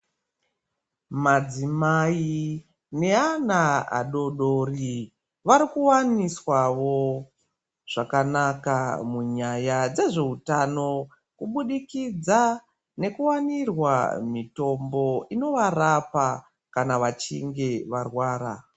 Madzimai neana adoodori varikuwaniswawo zvakanaka munyaya dzezveutano kubudikidza nekuwanirwa mitombo inovarapa kana vachinge varwara.